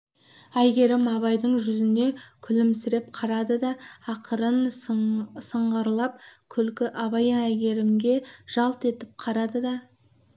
әйгерім абайдың жүзіне күлімсіреп қарады да ақырын сыңғырлап күлді абай әйгерімге жалт етіп қарады да